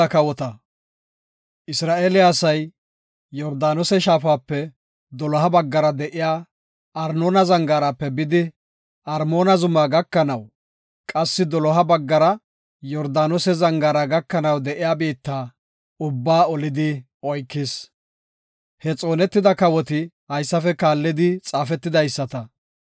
Isra7eele asay Yordaanose shaafape doloha baggara de7iya Arnoona zangaarape bidi Armoona zumaa gakanaw, qassi doloha baggara Yordaanose zangaara gakanaw de7iya biitta ubbaa olidi oykis. He xoonetida kawoti haysafe kaallidi xaafetidaysata;